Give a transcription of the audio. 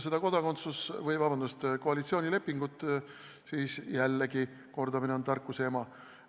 Ent mis puudutab koalitsioonilepingut, siis jällegi: kordamine on tarkuse ema.